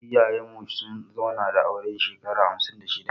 Iyayen mu sun zauna da aure shekara hamsin da shida